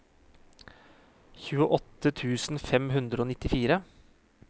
tjueåtte tusen fem hundre og nittifire